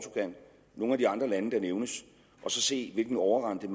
nogle af de andre lande der nævnes og se hvilken overrente